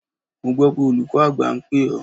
Mo gbọ́ pé olùkọ́ àgbà ń pè ọ́?